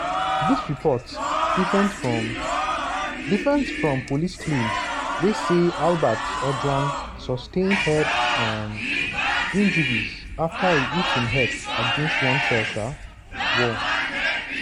dis report different from different from police claimswey say albert ojwang "sustain head um injuries afta e hit im head against one cell um wall".